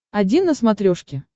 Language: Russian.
один на смотрешке